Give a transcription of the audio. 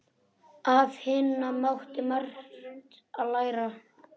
Af Hinna mátti margt læra.